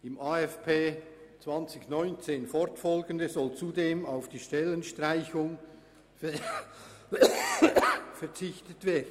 Im AFP 2019 fortfolgende soll zudem auf die Stellenstreichung verzichtet werden.